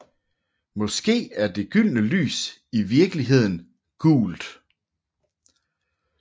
Måske er det gyldne lys i virkeligheden gult